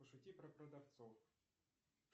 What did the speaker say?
пошути про продавцов